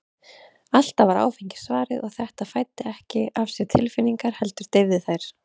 Alltaf var áfengi svarið, og þetta svar fæddi ekki af sér tilfinningar, heldur deyfði þær.